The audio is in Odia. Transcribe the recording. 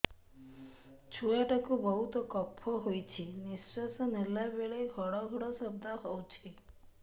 ଛୁଆ ଟା କୁ ବହୁତ କଫ ହୋଇଛି ନିଶ୍ୱାସ ନେଲା ବେଳେ ଘଡ ଘଡ ଶବ୍ଦ ହଉଛି